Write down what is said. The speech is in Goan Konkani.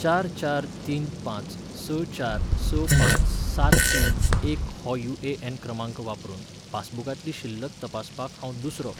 चार चार तीन पांच स चार स पांच सात तीन एक हो यूएएन क्रमांक वापरून पासबुकांतली शिल्लक तपासपाक हांव दुसरो